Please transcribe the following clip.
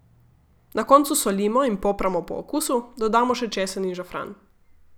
Na koncu solimo in popramo po okusu, dodamo še česen in žafran.